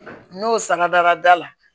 N y'o sangadara da la